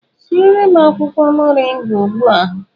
Siere m akwụkwọ mọrịnga ugbu a!